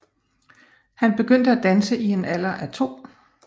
Han begyndte at danse i en alder af to